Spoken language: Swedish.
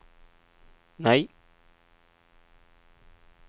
nej